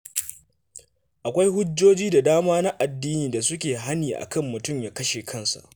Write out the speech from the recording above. Akwai hujjoji da dama na addini da suke hani a kan mutum ya kashe kansa.